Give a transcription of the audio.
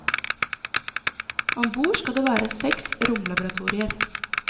Om bord skal det være seks romlaboratorier.